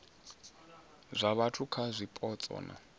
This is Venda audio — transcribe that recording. zwa vhathu kha zwipotso na